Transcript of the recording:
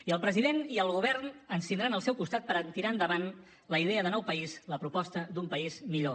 i el president i el govern ens tindran al seu costat per tirar endavant la idea de nou país la proposta d’un país millor